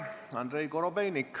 Andrei Korobeinik.